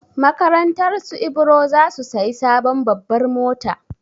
Makarantarsu Ibro za su sayi sabon babbar mota.